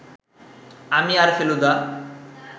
আমি আর ফেলুদা